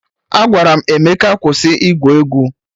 Agwara m Emeka kwụsị igwu egwu!